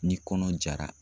Ni kɔnɔ jara.